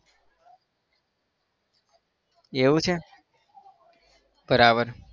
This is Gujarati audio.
એવું છે? બરાબર